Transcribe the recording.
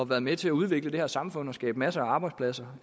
været med til at udvikle det her samfund og skabe masser af arbejdspladser